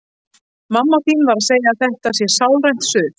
Mamma þín segir að þetta sé sálrænt suð.